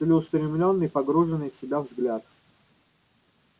целеустремлённый погруженный в себя взгляд